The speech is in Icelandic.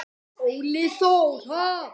Óli Þór.